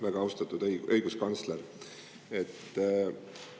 Väga austatud õiguskantsler!